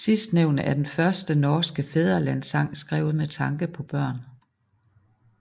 Sidstnævnte er den første norske fædrelandssang skrevet med tanke på børn